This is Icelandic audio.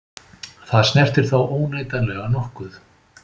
Það snertir þá óneitanlega nokkuð.